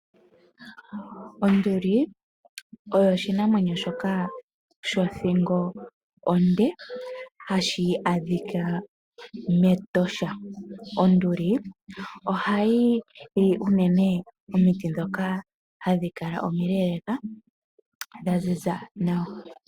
Onduli oyo oshinamwemyo shoka shothingo onde hashi adhika mEtosha. Onduli ohayi li unene omiti ndhoka hadhi kala omiileeleeka dha ziza nawa.